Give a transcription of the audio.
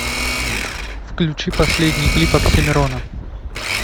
включи последний клип оксимирона